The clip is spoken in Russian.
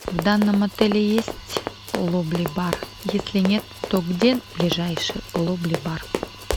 в данном отеле есть лобби бар если нет то где ближайший лобби бар